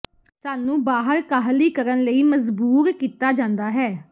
ਸਾਨੂੰ ਬਾਹਰ ਕਾਹਲੀ ਕਰਨ ਲਈ ਮਜ਼ਬੂਰ ਕੀਤਾ ਜਾਂਦਾ ਹੈ